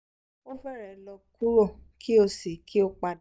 o fẹrẹ lọ kuro ki o si ki o pada